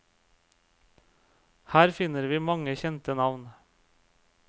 Her finner vi mange kjente navn.